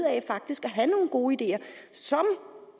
gode ideer som